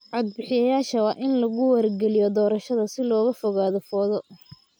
Cod-bixiyayaasha waa in lagu wargeliyaa doorashada si looga fogaado fowdo.